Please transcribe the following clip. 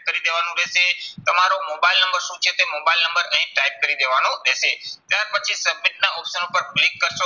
કરી દેવાનું રહેશે. તમારો મોબાઈલ નંબર શું છે તે મોબાઈલ નંબર અહીં type કરી દેવાનો રહેશે. ત્યાર પછી submit ના option ઉપર click કરશો,